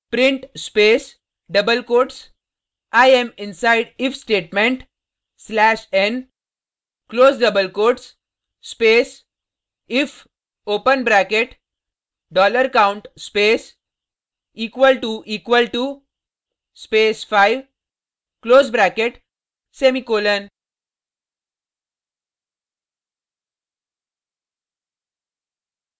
print space double quotes i am inside if statement slash n close double quotes space if open bracket dollar count space equal to equal to space 5 close bracket semicolon